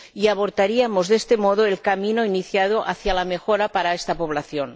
abortaríamos de este modo el camino iniciado hacia la mejora para esta población.